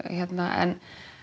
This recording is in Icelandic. en